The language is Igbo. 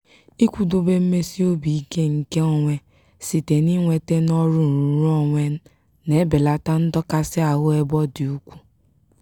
ịkwụdobe mmesi obi ike nke onwe site n'inweta n'ọrụ nrụrụonwe na-ebelata ndọkasị ahụ ebe ọ dị ukwu.